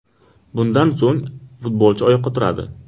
Bundan so‘ng futbolchi oyoqqa turadi.